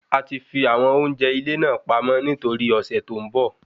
A ti fi àwọn oúnjẹ ilé náà pamọ́ ní toríi ọ̀sẹ̀ tó ń bọ